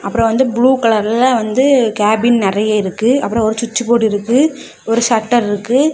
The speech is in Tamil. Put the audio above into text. அப்புறம் வந்து ப்ளூ கலர்ல வந்து கேபின் நறைய இருக்கு அப்புறம் ஒரு சுட்ச் போர்டு இருக்கு ஒரு ஷட்டர் இருக்கு.